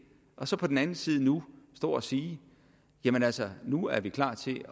og så på den anden side nu stå og sige jamen altså nu er vi klar til